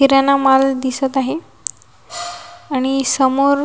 किराणा माल दिसत आहे आणि समोर--